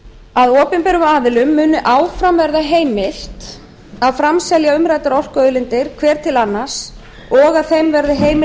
að opinberum aðilum muni áfram verða heimilt að framselja umræddar orkuauðlindir hver til annars og að þeim verði heimil